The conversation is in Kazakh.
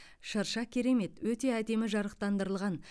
шырша керемет өте әдемі жарықтандырылған